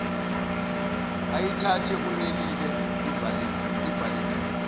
ayithathe unelile ivalelise